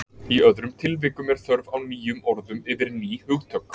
Í öðrum tilvikum er þörf á nýjum orðum yfir ný hugtök.